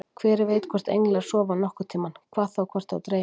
Hver veit hvort englar sofa nokkurn tímann, hvað þá hvort þá dreymir.